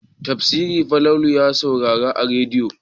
Tafsiri Falalu ya saurara a rediyo.